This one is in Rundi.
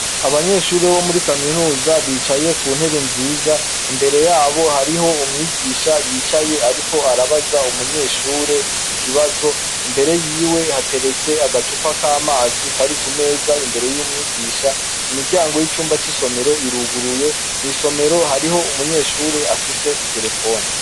Abanyeshuri bomuri kaminuza bicaye ku ntebe nziza imbere yabo hariho umwigisha yicaye ariko arabaza umunyeshure ikibazo imbere yiwe hateretse agacupa k'amazi kari ku meza imbere y'umwigisha imiryango y'icumba c'isomero iruguruye mw'isomero hariho umunyeshure afise itelefone.